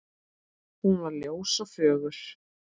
Hún var ljós og fögur.